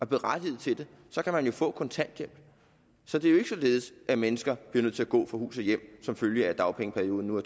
berettiget til det så kan man jo få kontanthjælp så det er jo ikke således at mennesker bliver nødt til at gå fra hus og hjem som følge af at dagpengeperioden nu